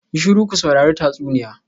Yi shiru ku saurari tatsuniya.